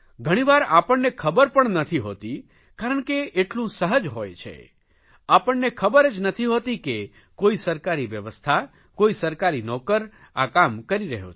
ઘણીવાર આપણને ખબર પણ નથી હોતી કારણ કે એટલું સહજ હોય છે આપણને ખબર જ નથી હોતી કે કોઇ સરકારી વ્યવસ્થા કોઇ સરકારી નોકર આ કામ કરી રહ્યો છે